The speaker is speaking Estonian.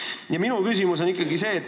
Aga minu küsimus on ikkagi selline.